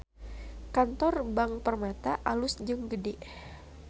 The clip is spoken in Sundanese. Kantor Bank Permata alus jeung gede